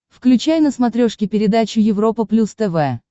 включай на смотрешке передачу европа плюс тв